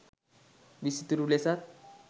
විසිතුරු ලෙසත්